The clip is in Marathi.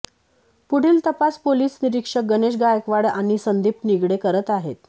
पुढील तपास पोलीस निरीक्षक गणेश गायकवाड आणि संदीप निगडे करत आहेत